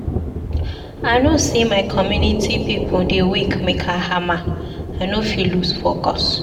I know sey my community pipu dey wait make I hama, I no fit loose focus.